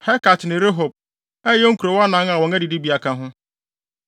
Helkat ne Rehob, a ɛyɛ nkurow anan a wɔn adidibea ka ho.